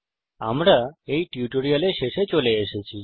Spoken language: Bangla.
আমরা এই টিউটোরিয়ালের শেষে চলে এসেছি